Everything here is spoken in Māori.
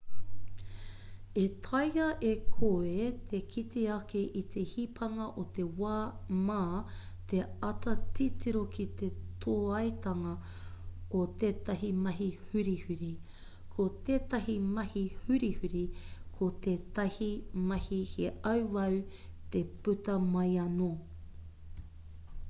e taea e koe te kite ake i te hipanga o te wā mā te āta titiro ki te tōaitanga o tetahi mahi hurihuri ko tētahi mahi hurihuri ko tētahi mahi he auau te puta mai anō